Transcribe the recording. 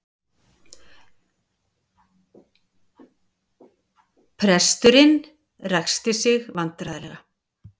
Presturinn ræskti sig vandræðalega.